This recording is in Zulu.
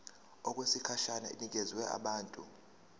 okwesikhashana inikezwa abantu